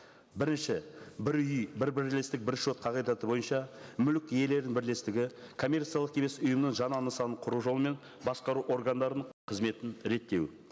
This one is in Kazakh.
бірінші бір үй бір бірлестік бір шот қағидаты бойынша мүлік иелерінің бірлестігі коммерциялық емес ұйымның жаңа нысанын құру жолымен басқару органдарының қызметін реттеу